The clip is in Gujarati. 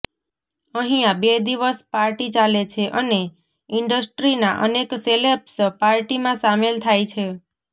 અહીંયા બે દિવસ પાર્ટી ચાલે છે અને ઈન્ડસ્ટ્રીના અનેક સેલેબ્સ પાર્ટીમાં સામેલ થાય છે